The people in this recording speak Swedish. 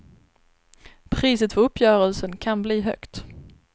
Priset för uppgörelsen kan bli högt.